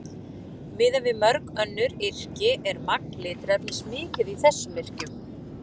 Miðað við mörg önnur yrki er magn litarefnis mikið í þessum yrkjum.